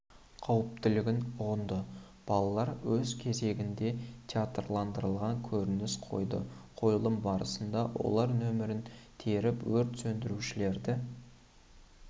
қауіптілігін ұғынды балалар өз кезегінде театрландырылған көрініс қойды қойылым барысында олар нөмірін теріп өрт сөндірушілерді